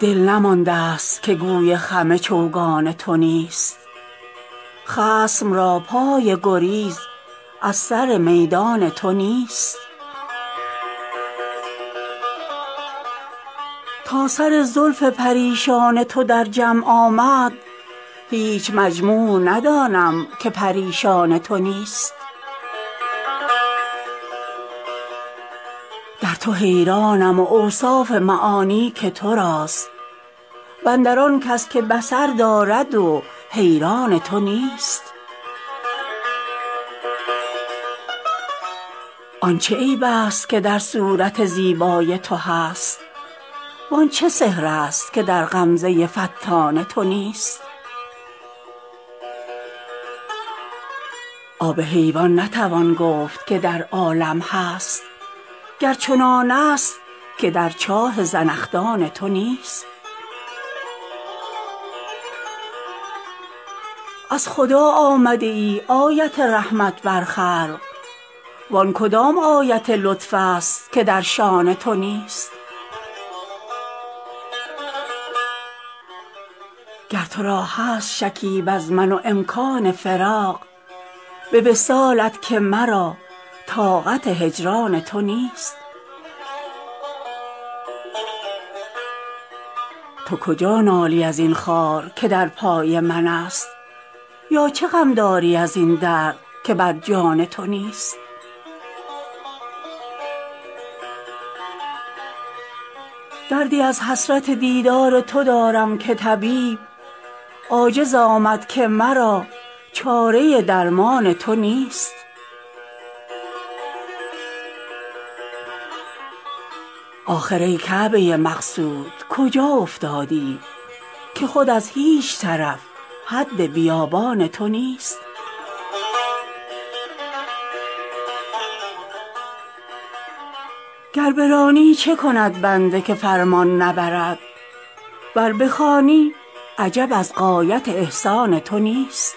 دل نمانده ست که گوی خم چوگان تو نیست خصم را پای گریز از سر میدان تو نیست تا سر زلف پریشان تو در جمع آمد هیچ مجموع ندانم که پریشان تو نیست در تو حیرانم و اوصاف معانی که تو راست و اندر آن کس که بصر دارد و حیران تو نیست آن چه عیب ست که در صورت زیبای تو هست وان چه سحر ست که در غمزه فتان تو نیست آب حیوان نتوان گفت که در عالم هست گر چنانست که در چاه زنخدان تو نیست از خدا آمده ای آیت رحمت بر خلق وان کدام آیت لطف ست که در شأن تو نیست گر تو را هست شکیب از من و امکان فراغ به وصالت که مرا طاقت هجران تو نیست تو کجا نالی از این خار که در پای منست یا چه غم داری از این درد که بر جان تو نیست دردی از حسرت دیدار تو دارم که طبیب عاجز آمد که مرا چاره درمان تو نیست آخر ای کعبه مقصود کجا افتادی که خود از هیچ طرف حد بیابان تو نیست گر برانی چه کند بنده که فرمان نبرد ور بخوانی عجب از غایت احسان تو نیست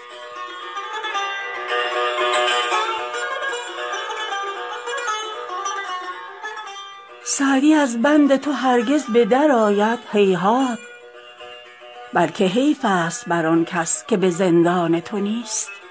سعدی از بند تو هرگز به درآید هیهات بلکه حیف ست بر آن کس که به زندان تو نیست